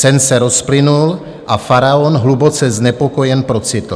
Sen se rozplynul a faraon hluboce znepokojen procitl.